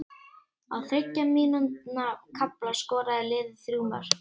Á þriggja mínútna kafla skoraði liðið þrjú mörk.